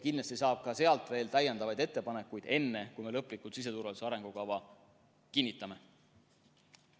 Kindlasti saab ka nendelt veel täiendavaid ettepanekuid, enne kui me siseturvalisuse arengukava lõplikult kinnitame.